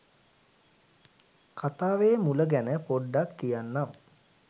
කතාවෙ මුල ගැන පොඩ්ඩක් කියන්නම්.